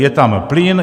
Je tam plyn.